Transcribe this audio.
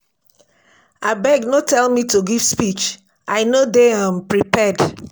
Abeg no tell me to give give speech I no dey um prepared